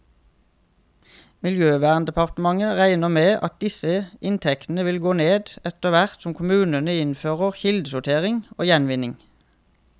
Miljøverndepartementet regner med at disse inntektene vil gå ned, etterhvert som kommunene innfører kildesortering og gjenvinning.